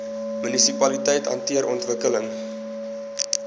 munisipaliteite hanteer ontwikkeling